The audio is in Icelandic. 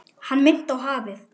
Hann minnti á hafið.